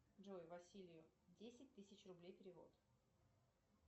джой василию десять тысяч рублей перевод